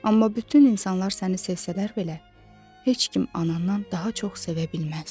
Amma bütün insanlar səni sevsələr belə, heç kim anandan daha çox sevə bilməz.